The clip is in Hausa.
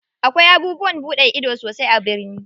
Akwai abubuwan buɗe ido sosai a birni.